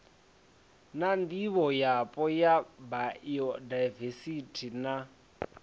na ndivhoyapo ya bayodaivesithi na